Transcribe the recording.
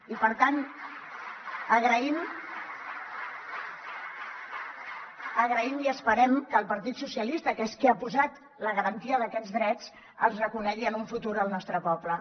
i per tant ho agraïm i esperem que el partit socialistes que és qui ha posat la garantia d’aquests drets els reconegui en un futur al nostre poble